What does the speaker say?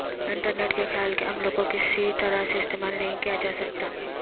internet کے خیال کے عمل کو کسی طرح سے استعمال نہیں کیا جا سکتا